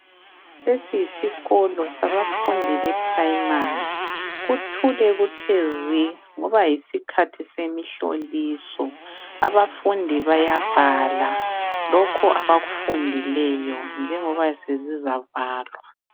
Lesi yisikolo sabafundi be primary. Kuthule kuthwe zwi ngoba yisikhathi semihloliso. Abafundi bayabhala lokho abakufundileyo njengoba sezizavalwa.